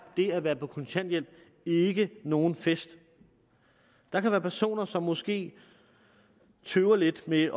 det at være på kontanthjælp ikke nogen fest der kan være personer som måske tøver lidt med